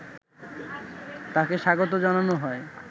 তাকে স্বাগত জানানো হয়